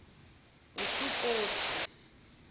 esukothi